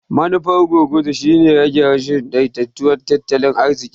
Manufar gurguzu shine rage rashin daidaiton tattalin arziƙi.